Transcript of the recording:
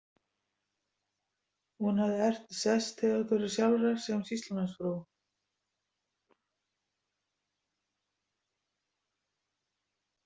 Hún hafði erft sess Theodóru sjálfrar sem sýslumannsfrú.